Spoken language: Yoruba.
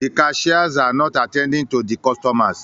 The cashiers are not attending to the customers